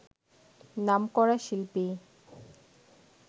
নামকরা শিল্পী